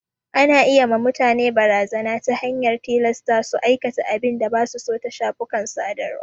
Ana iya ma mutane barazana ta hanyar tilasta su aikata abin da basu so ta shafukan sadarwa.